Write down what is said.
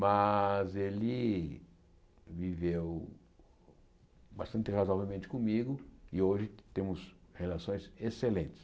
Mas ele viveu bastante razoavelmente comigo e hoje temos relações excelentes.